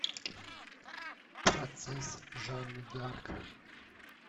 процесс жанны дарк